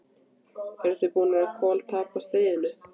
Þið eruð búnir að koltapa stríðinu!